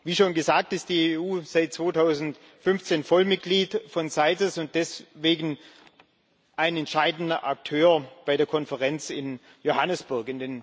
Wie schon gesagt, ist die EU seit 2015 Vollmitglied von CITES und deswegen ein entscheidender Akteur bei der Konferenz in Johannesburg.